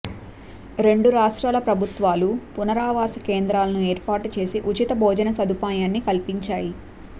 రెండు రాష్ట్రాల ప్రభుత్వాలు పునరావాస కేంద్రాలను ఏర్పాటు చేసి ఉచిత భోజన సదుపాయాన్ని కల్పించాయి